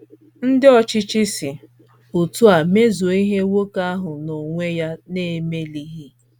Ndị ọchịchị si otú a mezuo ihe nwoke ahụ n’onwe ya na - emelighị.